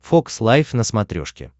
фокс лайв на смотрешке